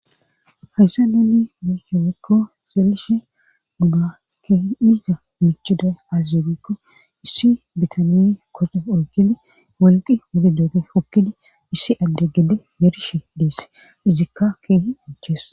hayssa neeni mushe wekko seelishe ba keehi izza michuday azizebikko issi bitaniy koxe oykidi wolqi wori dooge pokkidi issi adde gede yerishe deesse izikka keehi ochees